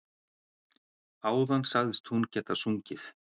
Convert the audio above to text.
Áðan sagðist hún geta sungið.